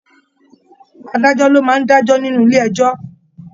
Adájọ lọ máa n dajọ nínú ilé ẹjọ.